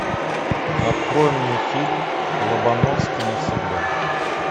открой мне фильм лобановский навсегда